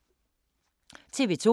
TV 2